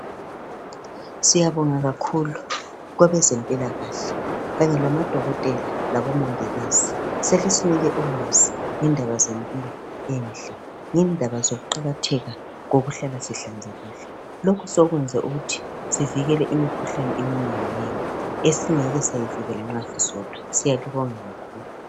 Siyabonga kakhulu kwabezempilakahle kanye lamadokotela labomongikazi. Selisinike ulwazi ngendaba zempilo enhle, ngendaba zokuqakatheka kokuhlala sihlanzekile. Lokhu sekwenze ukuthi sivikele imikhuhlane eminenginengi esingeke sayivikela nxa sisodwa, siyalibonga kakhulu.